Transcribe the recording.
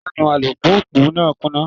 Ìjánu alùpùpù náà kùnà.